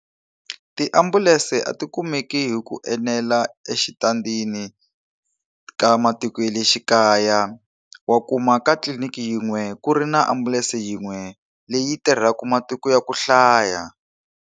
Tiambulense a ti kumeki hi ku enela exitandini ka matiko ya le xikaya. Wa kuma ka tliliniki yin'we ku ri na ambulense yin'we leyi tirhaka matiko ya ku hlaya.